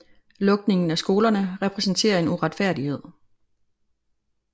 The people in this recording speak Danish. Lukningen af skolerne repræsenterer en uretfærdighed